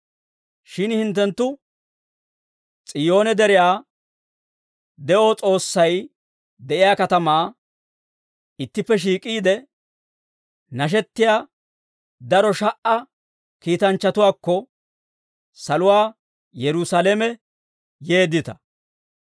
Shin hinttenttu S'iyoone Deriyaa, de'o S'oossay de'iyaa katamaa, ittippe shiik'iide nashettiyaa daro sha"a kiitanchchatuwaakko saluwaa Yerusaalame yeeddita.